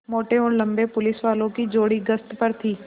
मोटे और लम्बे पुलिसवालों की जोड़ी गश्त पर थी